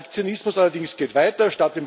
Der Aktionismus allerdings geht weiter.